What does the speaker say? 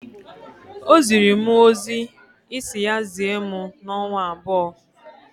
O ziri mụ ozi Ị si ya zie mụ n'ọnwa abụọ.